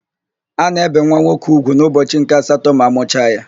A na-ébè nwa nwoke úgwù n'ụbọchị nke asatọ ma amụcha ya.